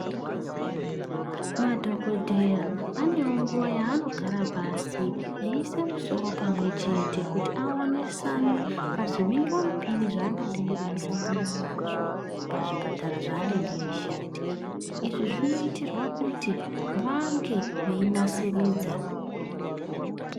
Madhokodheya anewo nguwa yanogara pasi eisa musoro pamwechete kuti aonesane pazvimhingamupini zvangadei eisangana nazvo pazvipatara zvanenge eishandira. Izvi zvinoitirwa kuti vange veinasiridza.